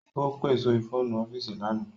Ó pe sórí fóònù ọ́fíìsì lánàá